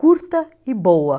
curta e boa.